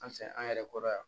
An fɛ an yɛrɛ kɔrɔ yan